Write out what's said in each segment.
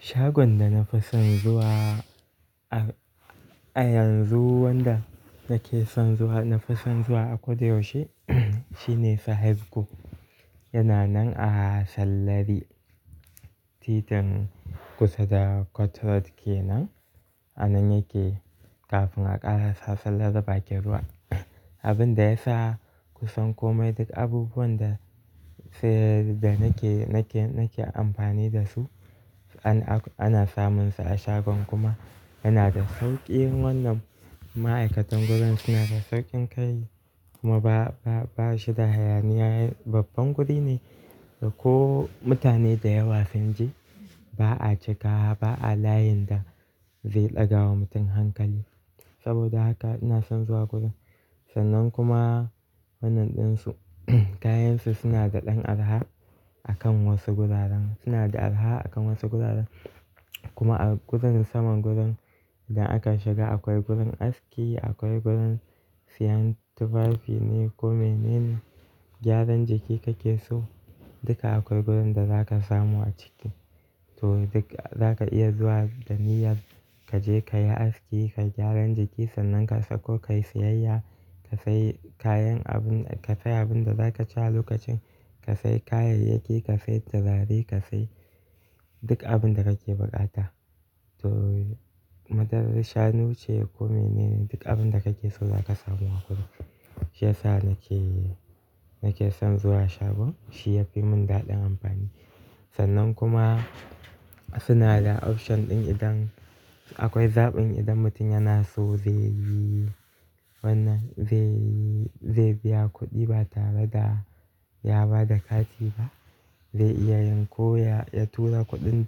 Shagon da na fi son zuwa, a, a yanzu wanda nake son zuwa, na fi son zuwa a Koda yaushe shine Sahadco. Yana nan a sallari. Titin kusa da Cotroad kenan. Anan yake kafin a ƙara sa sallar da baƙi ruwa. Abin da ya sa kusan komai duk abubuwan da sai, da nake, nake, nake amfani da su ana, ana samun su a shagon kuma yana da sauƙi. Wannan ma'aikatan gurin suna da sauƙin kai kuma ba, ba, ba shi da hayaniya. Babban guri ne da ko mutane da yawa sun je ba a cika ba a layin da zai ɗaga wa mutum hankali. Saboda haka ina son zuwa gurin. Sannan kuma wannan ɗinsu kayansu suna da ɗan arha a kan wasu guraren. Suna da araha a kan wasu guraren kuma a gurin saman gurin da aka shiga akwai gurin aski, akwai gurin siyyan tufafi ne ko mene ne, gyaran jiki kake so duka akwai gurin da zaka samu a ciki. To duk zaka iya zuwa da niyyar kaje kayi aski, kayi gyaran jiki sannan ka sauko kayi siyayya, ka sai kayan abun, ka sai abin da zaka ci a lokacin, ka sai kayayyaki, ka sai turare, ka sai duk abin da kake buƙata. To madarar shanu ce ko mene ne duk abin da kake so zaka samu a gurin. Shi ya sa nake, nake son zuwa shagon. Shi ya fi mun daɗin amfani. Sannan kuma suna da option ɗin idan akwai zaɓin idan mutum yana so zai yi wannan, zai yi, zai biya kuɗi ba tare da ya ba da kati ba. Zai iya yanko ya, ya tura kuɗin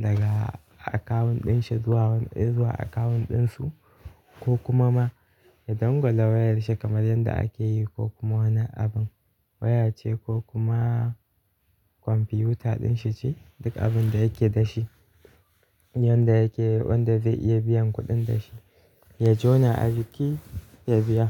daga akawun ɗinshi zuwa wannan, zuwa akawun ɗinsu, ko kuma ma ya dangwala wayar shi kamar yadda ake yi ko kuma wannan abin, waya ce ko kuma kwamfiyuta ɗin shi ce duk abin da yake da shi. Wanda yake, wanda zai iya biyan kuɗin da shi. Ya jona ajiƙi ya biya.